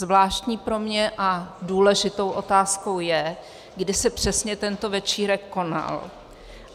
Zvláštní pro mě a důležitou otázkou je, kdy se přesně tento večírek konal.